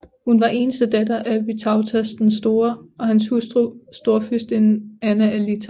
Hun var eneste datter af Vytautas den Store og hans hustru storfyrstinde Anna af Litauen